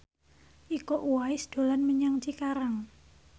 Iko Uwais dolan menyang Cikarang